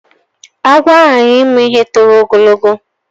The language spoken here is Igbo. Agwọ aghaghi imu ihe toro ogo